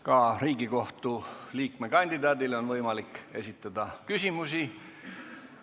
Ka Riigikohtu liikme kandidaadile on võimalik esitada küsimusi.